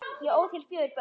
Ég ól þér fjögur börn.